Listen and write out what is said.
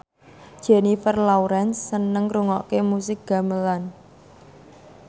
Jennifer Lawrence seneng ngrungokne musik gamelan